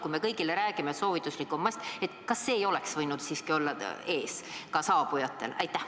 Kui me kõigile räägime, et soovituslik on kanda maski, siis kas see ei oleks võinud olla ees ka saabujatel?